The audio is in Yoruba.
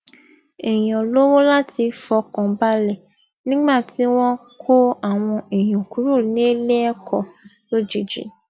èèyàn lówó láti fọkàn balẹ nígbà tí wón kó àwọn èèyàn kúrò níléẹkọ lójijì